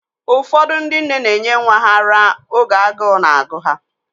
Ụfọdụ ndị nne na enye nwa ha ara oge agụụ na-agụ ha